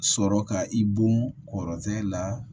Sɔrɔ ka i bon kɔrɔtɛ la